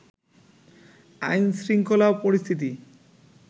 আইনশৃঙ্খলা পরিস্থিতি